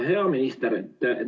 Hea minister!